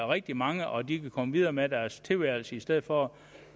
rigtig mange og de ville kunne komme videre med deres tilværelse i stedet for